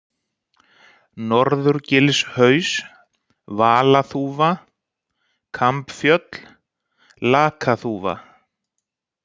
Norðurgilshaus, Valaþúfa, Kambfjöll, Lakaþúfa